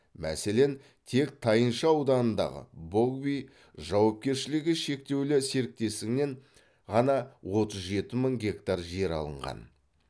мәселен тек тайынша ауданындағы богви жауапкершілігі шектеулі серіктестігінен ғана отыз жеті мың гектар жер алынған